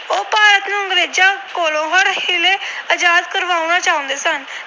ਆਜਾਦ ਕਰਵਾਉਣਾ ਚਾਹੁੰਦੇ ਸਨ।